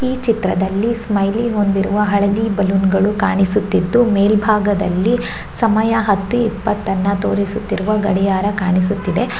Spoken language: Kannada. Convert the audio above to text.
ಈ ಚಿತ್ರದಲ್ಲಿ ಸ್ಟೈಲಿ ಹೊಂದಿರುವ ಹಳದಿ ಬಲೂನ್ ಗಳು ಕಾಣಿಸುತ್ತಿದ್ದು ಮೇಲಬಾಗದಲ್ಲಿ ಸಮಯ ಹತ್ತು ಇಪ್ಪತ್ತ ಅನ್ನ ತೋರಿಸುತ್ತಿರುವ ಗಡಿಯಾರ ಕಾಣಿಸುತ್ತಿದೆ.